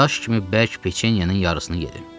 Daş kimi bərk peçenyenin yarısını yedim.